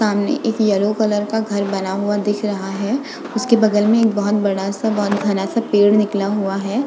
सामने एक yellow colour का घर बना हुआ दिख रहा है। उसके बगल में एक बोहत बड़ा सा बोहत घणा सा पेड़ निकला हुआ है।